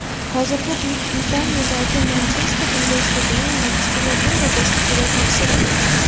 Hozirda Buyuk Britaniyadagi Manchester universitetining magistratura bosqichida tahsil olyapti.